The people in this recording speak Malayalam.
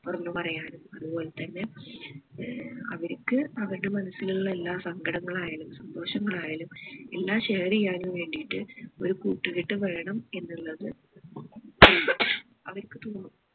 തൊറന്ന് പറയാനും അതുപോലെ തന്നെ ഏർ അവരിക്ക് അവർടേ മനസ്സിലുള്ള എല്ലാ സങ്കടങ്ങൾ ആയാലും സന്തോഷങ്ങൾ ആയാലും എല്ലാം share ചെയ്യാനും വേണ്ടിയിട്ട് ഒരു കൂട്ടുകെട്ട് വേണം എന്നുള്ളത് അവരിക്ക് തോന്നും